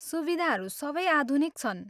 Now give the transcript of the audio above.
सुविधाहरू सबै आधुनिक छन्।